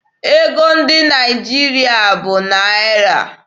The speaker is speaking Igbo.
Ego ndị Naịjirịa bụ na Naịra.